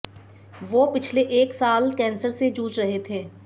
वो पिछले एक साल कैंसर से जूझ रहे थे